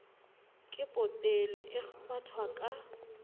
ke potele e kgwathwang ka